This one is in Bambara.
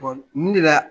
mun de la